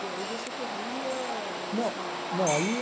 E aí você corria nos... não, no, não aí...